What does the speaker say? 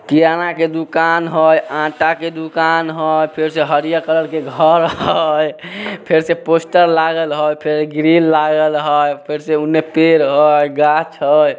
किराना के दुकान हय आटा के दूकान हय फेर से हरिया कलर के घर हय फेर से पोस्टर लागल हय फिर ग्रिल लागल हय फिर से उने पेड़ हय गाछ हय।